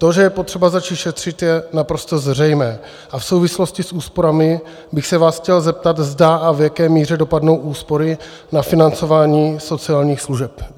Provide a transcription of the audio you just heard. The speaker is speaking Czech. To, že je potřeba začít šetřit, je naprosto zřejmé a v souvislosti s úsporami bych se vás chtěl zeptat, zda a v jaké míře dopadnou úspory na financování sociálních služeb.